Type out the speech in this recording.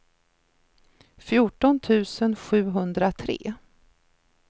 fjorton tusen sjuhundratre